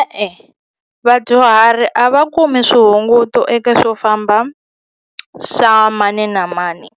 E-e, vadyuhari a va kumi swihunguto eka swofamba swa mani na mani